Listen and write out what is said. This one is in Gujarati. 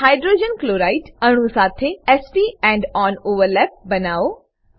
હાઇડ્રોજન ક્લોરાઇડ હાઇડ્રોજન ક્લોરાઇડ અણુ સાથે s p end on overlap બનાવો